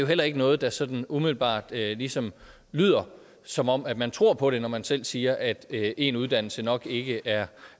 heller ikke noget der sådan umiddelbart ligesom lyder som om man tror på det når man selv siger at én uddannelse nok ikke er